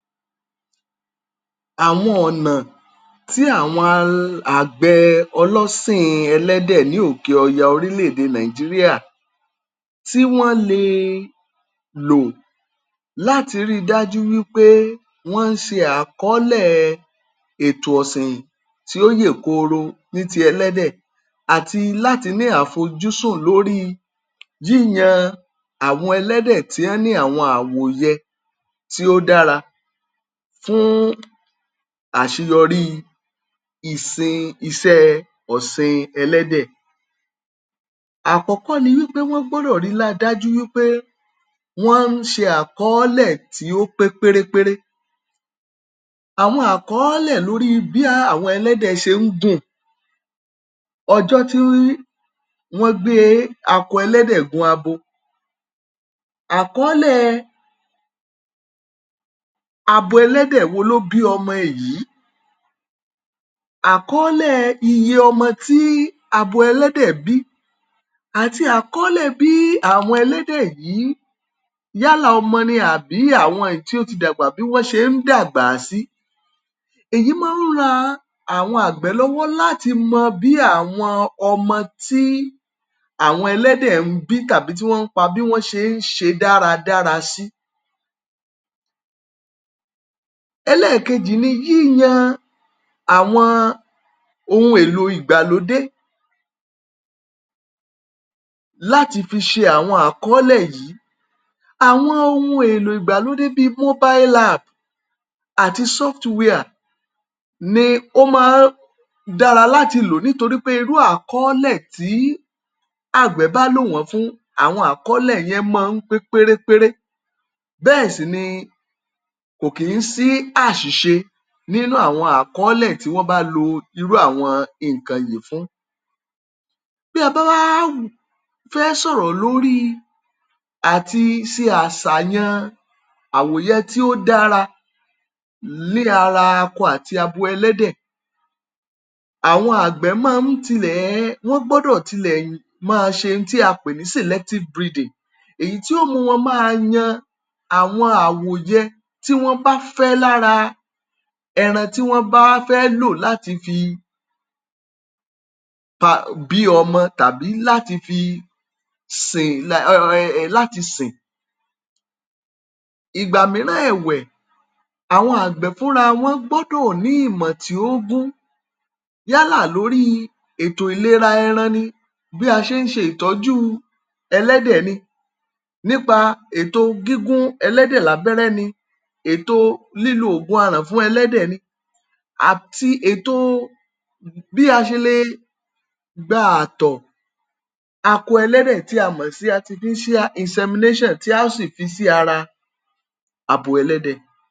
Àwọn ọ̀nà tí àwọn um àgbẹ̀ ọlọ́sìn ẹlẹ́dẹ̀ ní òkè ọya orílẹ̀-èdè Nàìjíríà tí wọ́n lè lò láti rí i dájú wípé wọ́n ń ṣe àkọọ́lẹ̀ ètò ọ̀sìn tí ó yè kooro ní tí ẹlẹ́dẹ̀ àti láti ní àfojúsùn lórí yíyan àwọn ẹlẹ́dẹ̀ tí wón ní àwọn àwòyẹ tí ó dára fún àṣeyọrí ìsin iṣẹ́ ọ̀sìn ẹlẹ́dẹ̀. Àkọ́kọ́ ni wípé wọ́n gbọ́dọ̀ rí i dájú wípé wón ń ṣe àkọọ́lẹ̀ tí ó pé pérépéré, àwọn àkọọ́lẹ̀ lórí bí àwọn ẹlẹ́dẹ̀ ṣe ń gùn, ọjọ́ tí wọ́n gbé akọ ẹlẹ́dẹ̀ gun abo, àkọọ́lẹ̀ abo ẹlẹ́dẹ̀ wo ló bí ọmọ èyí, àkọọ́lẹ̀ iye ọmọ tí abo ẹlẹ́dẹ̀ bí, àti àkọọ́lẹ̀ bí àwọn ẹlẹ́dẹ̀ yìí, yálà ọmọ ni àbí àwọn èyí tí ó ti dàgbà bí wọ́n ṣe ń dágbà sí, èyí máa ń ran àwọn àgbẹ̀ lọ́wọ́ láti mọ bí àwọn ọmọ tí àwọn ẹlẹ́dẹ̀ ń bi tàbí tí wọ́n ń pa, bí wọ́n ṣe ń ṣe dáradára si. Ẹlẹ́ẹ̀kejì ni yíyan àwọn ohun èlò ìgbàlódé láti fi ṣe àwọn àkọsílẹ̀ yìí, àwọn ohun èlò ìgbàlódé bíi, àti ni ó máa n dára láti lò, toŕi pé àkọọ́lẹ̀ tí àgbẹ̀ bá lò wọ́n fún, àwọn àkọọ́lẹ̀ yẹn máa ń pé pérépéré, bẹ́ẹ̀ sì ni kò kí ń sí àṣìṣe nínú àwọn àkọọ́lẹ̀ tí wọ́n bá lo irú àwọn nǹkan yìí fún. Bí a bá wá fẹ́ sọ̀rọ̀ lórí àti ṣe àṣàyàn àwòyẹ tí ó dára ní ára akọ àti abo ẹlẹ́dẹ̀, àwọn àgbẹ̀ máa ń tilẹ̀, wọ́n gbọ́dọ̀ tilẹ̀ máa ṣe ohun tí à ń pè ní, èyí tí ó mú wọn máa yan àwọn àwòyẹ tí wọ́n bá fẹ́ lára ẹran tí wọ́n bá fẹ́ lo láti fi ba bí ọmọ ẹlẹ́dẹ̀ tàbí láti fi sìn,[um]láti siǹ. Ìgbà mìíràn ẹ̀wẹ̀, àwọn àgbẹ̀ fúnra wọn gbọ́dọ̀ ní ìmọ̀ tí ó gún yálà lórí ètò ìlera ẹran ni, bí a ṣe ń ṣe ìtọ́jú ẹlẹ́dẹ̀ ni, nípa ètò gígún ẹlẹ́dẹ̀ lábẹ́rẹ́ ni, ètò lílo oògùn aràn fún ẹlẹ́dẹ̀ ni, àti ètò bí a ṣe lè gba àtọ̀ akọ ẹlẹ́dẹ̀, tí a mọ̀ sí, tí a ó sì fi sí ara abo ẹlẹ́dẹ̀